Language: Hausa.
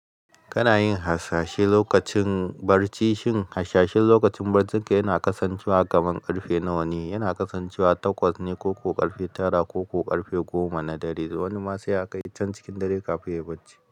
Kana yin hasashe lokacin barci, shin hashashen lokacin barcinka yana kasancewa kamar ƙarfe nawa ne? Yana kasancewa takwas ne ko ko ƙarfe tara ko ko ƙarfe goma na dare. Wani ma sai ya kai can cikin dare kafin yai barci.